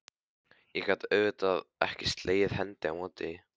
Ég gat auðvitað ekki slegið hendi á móti því.